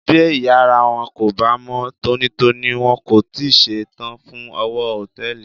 Bí ìyára wọn kò bá mọ́ tónítóní, wọn kò tíì ṣe tán fún òwò Hòtẹ́lìì.